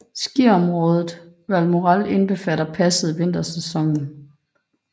Skiområdet Valmorel indbefatter passet i vintersæsonen